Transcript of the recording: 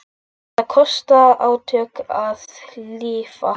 Það kostar átök að lifa.